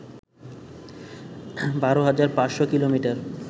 ১২ হাজার ৫শ’ কিলোমিটার